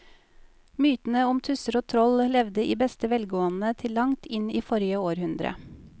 Mytene om tusser og troll levde i beste velgående til langt inn i forrige århundre.